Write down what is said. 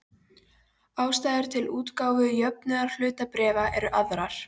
Ástæður til útgáfu jöfnunarhlutabréfa eru aðrar.